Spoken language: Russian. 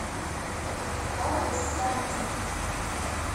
адрес санти